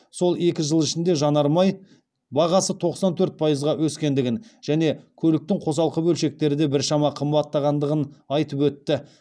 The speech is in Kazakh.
сол екі жыл ішінде жанар жағармай бағасы тоқсан төрт пайызға өскендігін және көліктің қосалқы бөлшектері де біршама қымбаттағандығын айтып өтті